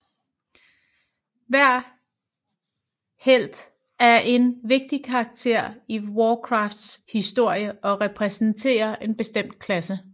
Hver helt er en vigtig karakter i Warcrafts historie og repræsenterer en bestemt klasse